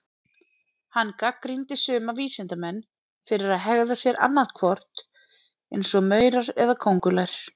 Hann gagnrýndi suma vísindamenn fyrir að hegða sér annað hvort eins og maurar eða köngulær.